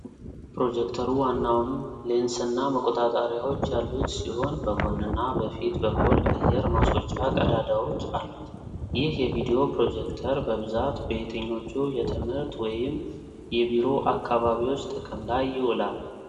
ፕሮጀክተሩ ዋናውን ሌንስና መቆጣጠሪያዎች ያሉት ሲሆን፣ በጎንና በፊት በኩል አየር ማስወጫ ቀዳዳዎች አሉት። ይህ የቪዲዮ ፕሮጀክተር በብዛት በየትኞቹ የትምህርት ወይም የቢሮ አካባቢዎች ጥቅም ላይ ይውላል?